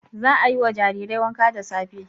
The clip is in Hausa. Za a yi wa jarirai wanka da safe.